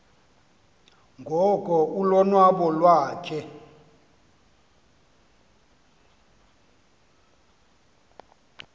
ngoko ulonwabo iwakhe